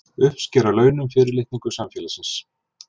Uppsker að launum fyrirlitningu samfélagsins!